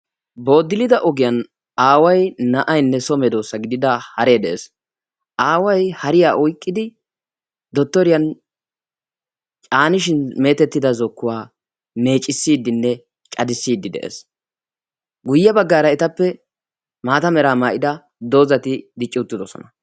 Boddilida ogiyan aaway, ba'aynne so medoosa gidida hare de'ees. Aaway hariya oyqqidi Dottoriyan caanishin meetettida zokkuwa meeccissidenne caddisside de'ees. Guyye baggaara etappe maatera maayyida doozati dicci uttidoosona.